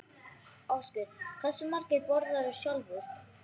Ásgeir: Hversu margar borðarðu sjálfur?